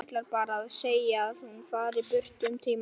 Ætlar bara að segja að hún fari burt um tíma.